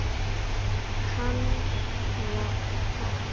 Kanada við.